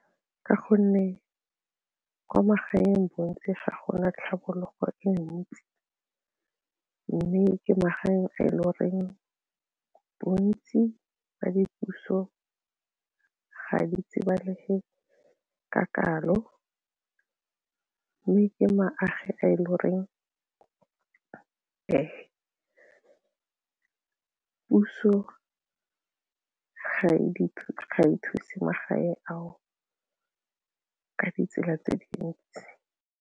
Ka gonne kwa magaeng bontsi ga gona tlhabologo e ntsi mme ke magaeng a e le goreng bontsi ba dipuso ga di tsebalege ka kalo mme ke magae a e le goreng ke puso ga e thuse magae ao ka ditsela tse dintsi.